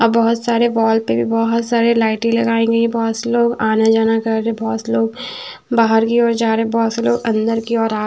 आ बहोत सारे बॉल्ब पे बहोत सारे लाइटे लगाए गई है बहोत से लोग आना-जाना कर रहे है बहोत से लोग बाहर की ओर जा रहे है बहोत से लोग अंदर की ओर आ --